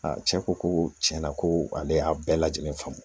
cɛ ko ko tiɲɛna ko ale y'a bɛɛ lajɛlen faamu